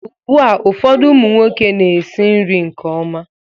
Ugbu a ụfọdụ ụmụ nwoke na-esi nri nke ọma